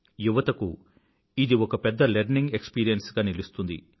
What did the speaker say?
యువతకు ఇది ఒక పెద్ద లెర్నింగ్ ఎక్స్పీరియన్స్ గా నిలుస్తుంది